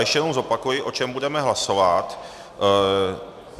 Ještě jednou zopakuji, o čem budeme hlasovat.